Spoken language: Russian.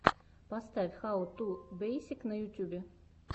поставь хау ту бейсик на ютьюбе